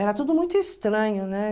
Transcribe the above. Era tudo muito estranho, né?